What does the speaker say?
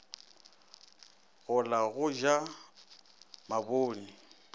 go la go ja mabone